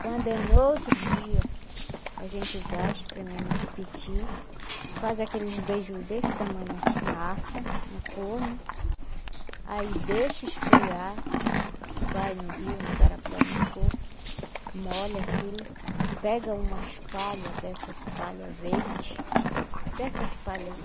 Quando é no outro dia, a gente vai espremer no tipiti, faz aqueles beiju desse tamanho assim, assa no forno, aí deixa esfriar, vai no rio, no garapé, onde for, molha aquilo, pega umas palha, dessas palha verde, dessas palha aí,